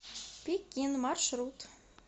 пекин маршрут